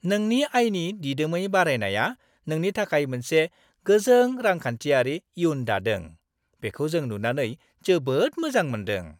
नोंनि आयनि दिदोमै बारायनाया नोंनि थाखाय मोनसे गोजों रांखान्थियारि इयुन दादों। बिखौ जों नुनानै जोबोद मोजां मोनदों।